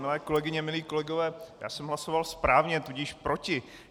Milé kolegyně, milí kolegové, já jsem hlasoval správně, tudíž proti.